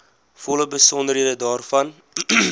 volle besonderhede daarvan